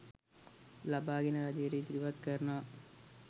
ලබාගෙන රජයට ඉදිරිපත් කරනවා.